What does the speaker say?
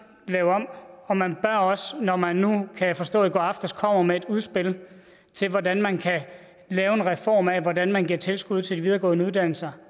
lave om og man bør også når man kan jeg forstå i går aftes kom med et udspil til hvordan man kan lave en reform af hvordan man giver tilskud til de videregående uddannelser